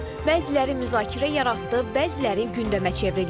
Bəziləri müzakirə yaratdı, bəziləri gündəmə çevrildi.